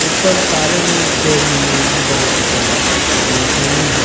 ऊपर तारो उ से उम बहोत ही परेशानी है।